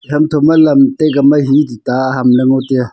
e ham tho ma lam taika ma he tuta aham ley ngo taiaa.